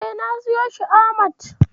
E, na siyo shi a Hamad.